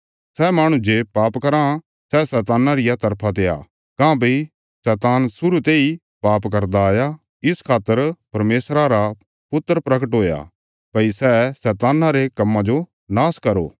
सै माहणु जे पाप कराँ सै शैतान्ना रिया तरफा ते आ काँह्भई शैतान शुरु तेई पाप करदा आया इस खातर परमेशरा रा पुत्र प्रगट हुया भई सै शैतान्ना रे कम्मां जो नाश करो